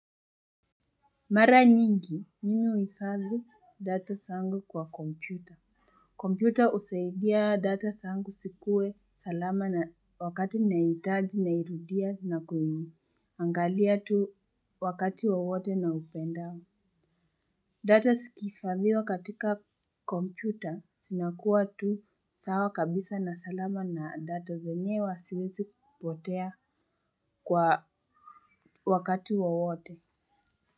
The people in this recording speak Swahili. Mara nyingi, mimi huhifadhi data zangu kwa kompyuta. Kompyuta husaidia data zangu zikuwe salama, na wakati nahiitaji, nairudia na kuiangalia tu wakati wowote niupendao. Data zikihifadhiwa katika kompyuta, zinakuwa tu sawa kabisa na salama na data zenyewe haziwezi kupotea kwa wakati wowote.